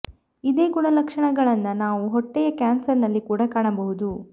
ಇದೆ ಗುಣ ಲಕ್ಷಣ ಗಳನ್ನ ನಾವು ಹೊಟ್ಟೆಯ ಕ್ಯಾನ್ಸರ್ ನಲ್ಲಿ ಕೂಡ ಕಾಣಬಹುದು